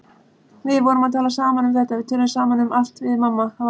Við vorum að tala saman um þetta, við tölum saman um allt við mamma.